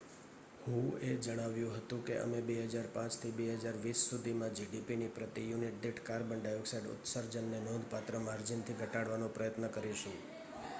"હુએ જણાવ્યું હતું કે "અમે 2005 થી 2020 સુધીમાં જીડીપીના પ્રતિ યુનિટ દીઠ કાર્બન ડાયોક્સાઇડ ઉત્સર્જનને નોંધપાત્ર માર્જિનથી ઘટાડવાનો પ્રયાસ કરીશું.""